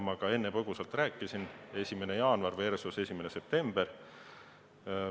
Ma enne põgusalt puudutasin dilemmat 1. jaanuar versus 1. september.